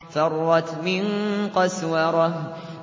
فَرَّتْ مِن قَسْوَرَةٍ